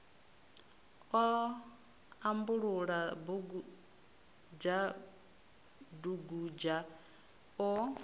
o ambulula dugudzha dugudzha o